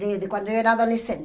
De de quando eu era adolescente?